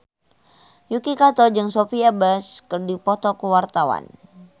Yuki Kato jeung Sophia Bush keur dipoto ku wartawan